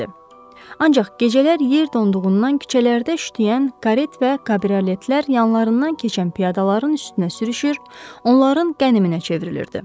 Ancaq gecələr yer donduğundan küçələrdə şütüyən karet və kabrioletlər yanlarından keçən piyadaların üstünə sürüşür, onların qəniminə çevrilirdi.